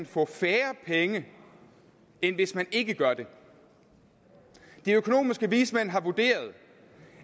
få færre penge end hvis man ikke gør det de økonomiske vismænd har vurderet